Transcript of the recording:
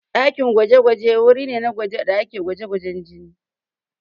Ɗakin gwaje-gwaje wuri ne da ake gwajin jini.